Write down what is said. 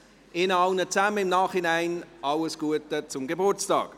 Ihnen allen wünsche ich im Nachhinein alles Gute zum Geburtstag.